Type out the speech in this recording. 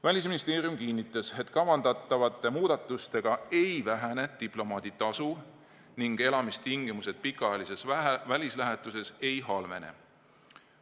Välisministeerium kinnitas, et kavandatavate muudatustega ei vähene diplomaaditasu ning elamistingimused pikaajalises välislähetuses ei halvene.